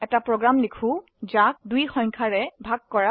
এটি প্ৰোগ্ৰাম লিখক যি 2 দ্বাৰা সংখ্যা ভাগ কৰে